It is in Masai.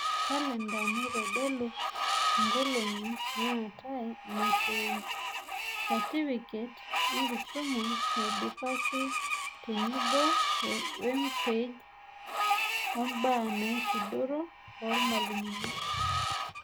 Kalenda naitodolu nkolong'I naate imashoi, satifiket enkisuma naidipaki tenebo wempage oombaa naisudoro oormalimuni.